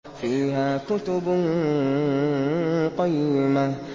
فِيهَا كُتُبٌ قَيِّمَةٌ